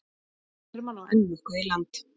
Hermann á enn nokkuð í land